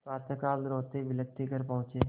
प्रातःकाल रोतेबिलखते घर पहुँचे